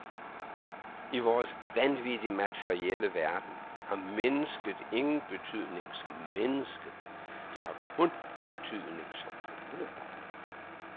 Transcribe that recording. I vores vanvittigt materielle verden har mennesket ingen betydning som menneske, det har kun betydning som forbruger.